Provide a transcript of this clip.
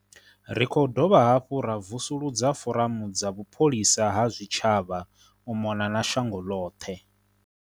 Ri khou dovha hafhu ra vusu ludza foramu dza vhupholisa ha zwitshavha u mona na shango ḽoṱhe.